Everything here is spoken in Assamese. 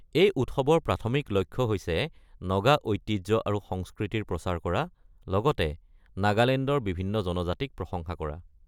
এই উৎসৱৰ প্ৰাথমিক লক্ষ্য হৈছে নগা ঐতিহ্য আৰু সংস্কৃতিৰ প্ৰচাৰ কৰা, লগতে নাগালেণ্ডৰ বিভিন্ন জনজাতিক প্ৰশংসা কৰা।